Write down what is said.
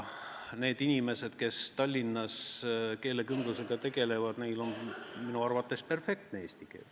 Nendel inimestel, kes Tallinnas keelekümblusega tegelevad, on minu arvates perfektne eesti keel.